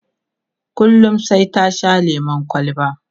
kullum sai ta Sha lemun kwalba